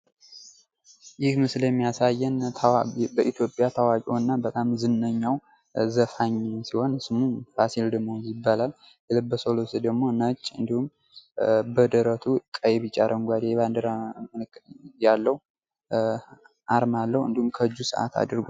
ይህ ምስል የሚያሳዬን በኢትዮጵያ ታዋቂውና በጣም ዝነኛው ዘፋኝ ሲሆን ስሙም ፋሲል ደመወዝ ይባላል። የለበሰው ልብስ ደሞ ነጭ እንዲሁም በደረቱ ቀይ፣ ቢጫ ፣አረጓዴ የባዲራ ምልክት አርማ ያለው እንዲሁም ከእጁ ሰአት አድርጓል።